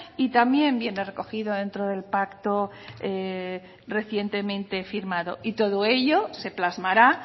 y también viene recogido dentro del pacto recientemente firmado todo ello se plasmará